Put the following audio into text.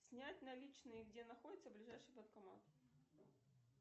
снять наличные где находится ближайший банкомат